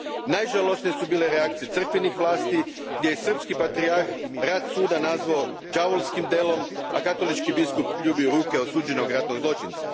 Najžalosnije su bile reakcije crkvenih vlasti, gdje je srpski patrijarh rad Suda nazvao đavolskim delom, a katolički biskup ljubio ruke osuđenog ratnog zločinca.